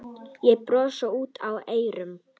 Og brosir út að eyrum.